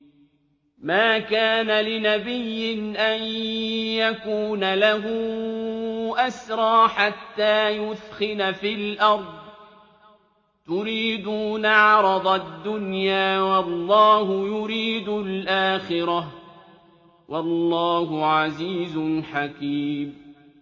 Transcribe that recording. مَا كَانَ لِنَبِيٍّ أَن يَكُونَ لَهُ أَسْرَىٰ حَتَّىٰ يُثْخِنَ فِي الْأَرْضِ ۚ تُرِيدُونَ عَرَضَ الدُّنْيَا وَاللَّهُ يُرِيدُ الْآخِرَةَ ۗ وَاللَّهُ عَزِيزٌ حَكِيمٌ